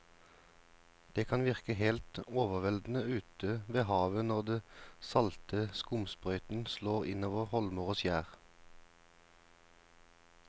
Det kan virke helt overveldende ute ved havet når den salte skumsprøyten slår innover holmer og skjær.